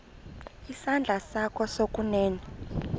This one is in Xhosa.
isandla sakho sokunene